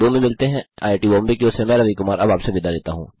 IIT Bombay की ओर से मैं रवि कुमार अब आपसे विदा लेता हूँ